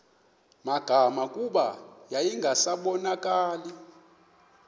magama kuba yayingasabonakali